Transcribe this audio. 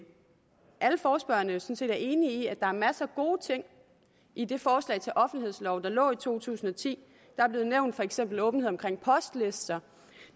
alle forespørgerne set er enige i at der var masser af gode ting i det forslag til offentlighedslov der lå i to tusind og ti der er blevet nævnt for eksempel åbenhed omkring postlister